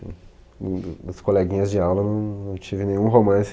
As coleguinhas de aula eu não, não tivem nenhum romance.